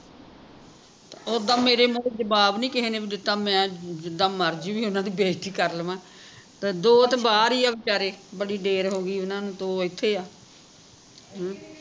ਤੇ ਉੱਦਾ ਮੇਰੇ ਮੂਹਰੇ ਜਵਾਬ ਨਹੀਂ ਕਿਸੇ ਨੇ ਵੀ ਦਿੱਤਾ ਮੈਂ ਜਿੱਦਾਂ ਮਰਜੀ ਓਹਨਾ ਦੀ ਬੇਜਤੀ ਕਰ ਲਵਾਂ ਤੇ ਦੋ ਤੇ ਬਾਹਰ ਹੀ ਆ ਵਚਾਰੇ ਬੜੀ ਦੇਰ ਹੋਗੀ ਓਹਨਾ ਨੂੰ ਦੋ ਐਥੇ ਆ